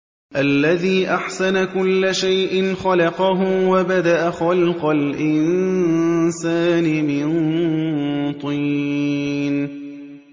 الَّذِي أَحْسَنَ كُلَّ شَيْءٍ خَلَقَهُ ۖ وَبَدَأَ خَلْقَ الْإِنسَانِ مِن طِينٍ